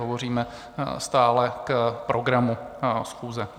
Hovoříme stále k programu schůze.